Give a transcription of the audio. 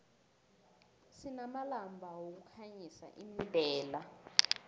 sinamalamba wokukhanyisa imdela